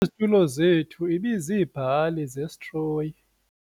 Izitulo zethu ibiziibhali zesitroyi.